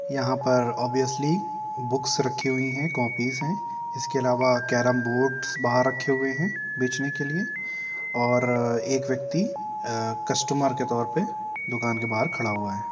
यहाँ पर obviously books रखी हुई हैं कोपिस हैं इसके अलावा केरेम बोर्ड्स बाहर रखे हुए हैं बेचने के लिए और एक व्यक्ति कस्टमर के तौर पे दुकान के बाहर खड़ा हुआ है।